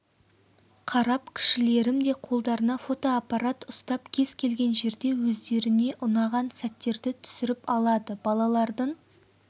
қарап кішілерім де қолдарына фотоаппарат ұстап кез келген жерде өздеріне ұнаған сәттерді түсіріп алады балалардың